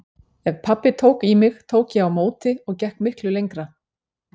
Ef pabbi tók í mig tók ég á móti og gekk miklu lengra.